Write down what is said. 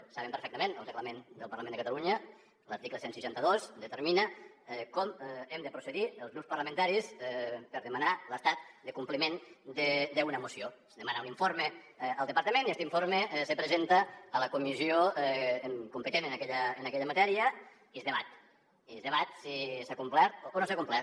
ho saben perfectament el reglament del parlament de ca·talunya l’article cent i seixanta dos determina com hem de procedir els grups parlamentaris per demanar l’estat de compliment d’una moció es demana un informe al departament i este informe se presenta a la comissió competent en aquella matèria i es debat i es debat si s’ha complert o no s’ha complert